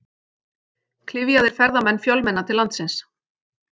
Klyfjaðir ferðamenn fjölmenna til landsins